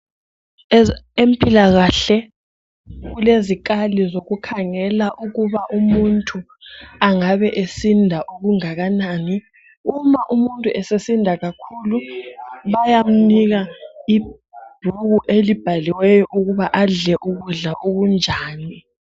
Empilakahle kulezikali zokukhangela ukuba umuntu angabe esinda okungananani uma umuntu esesinda kakhulu bayamnika ibhuku elibhaliweyo ukuba adle ukudla okunjani.